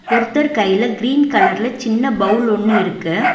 ஒருத்தர் கைல கிரீன் கலர்ல சின்ன பவுல் ஒன்னு இருக்கு.